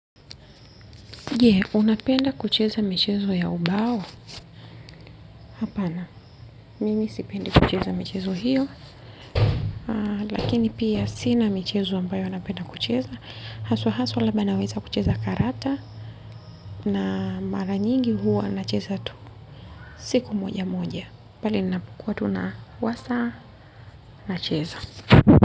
Je, unapenda kucheza michezo ya ubao? Hapana, mimi sipendi kucheza michezo hiyo. Lakini pia sina michezo ambayo napenda kucheza. Hasa hasa labda naweza kucheza karata na mara nyingi huwa nacheza tu. Siku moja moja. Pale ninapokuwa tu na wasaa nacheza.